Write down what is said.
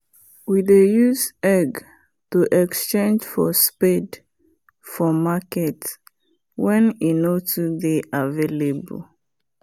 we dey use egg to exchange for spade for market wen e nor too dey available